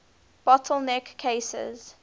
bottle neck cases